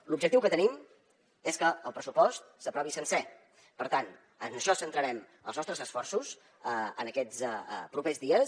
l’objectiu que tenim és que el pressupost s’aprovi sencer per tant en això centrarem els nostres esforços en aquests propers dies